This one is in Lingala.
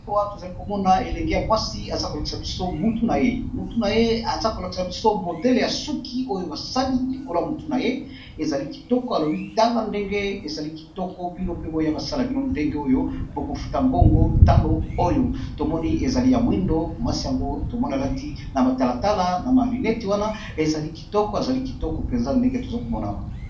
Awa to zali ko mona elenge ya mwasi aza ko lakisa biso mutu na ye mutu na ye aza kolakisa biso modele ya suki oyo ba sali likolo ya motu na ye . Ezali kitoko a lobi tala ndenge ezali kitoko bino pe boya ba sala bino ndenge oyo bo kofuta mbongo talo oyo, to moni ezali ya moyindo mwasi yango to moni a lati na matalatala na ma lunettes wana ezali kitoko, a zali kitoko penza ndenge toza ko mona awa .